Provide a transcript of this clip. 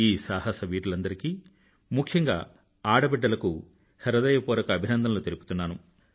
ఈ సాహసవీరులందరికీ ముఖ్యంగా ఆడబిడ్డలకు హృదయపూర్వక అభినందనలు తెలుపుతున్నాను